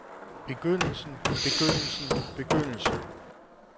begyndelsen begyndelsen begyndelsen